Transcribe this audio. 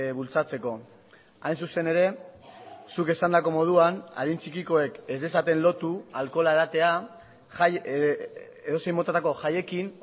bultzatzeko hain zuzen ere zuk esandako moduan adin txikikoek ez dezaten lotu alkohola edatea edozein motatako jaiekin